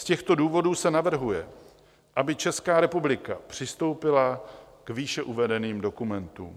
Z těchto důvodů se navrhuje, aby Česká republika přistoupila k výše uvedeným dokumentům.